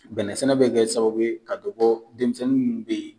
Bɛnɛ sɛnɛ bɛ kɛ sababu ka dɔ bɔ denmisɛnnin minnu be yen